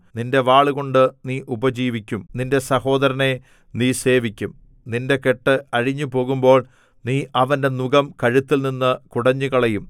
നിന്റെ വാളുകൊണ്ടു നീ ഉപജീവിക്കും നിന്റെ സഹോദരനെ നീ സേവിക്കും നിന്റെ കെട്ട് അഴിഞ്ഞുപോകുമ്പോൾ നീ അവന്റെ നുകം കഴുത്തിൽനിന്ന് കുടഞ്ഞുകളയും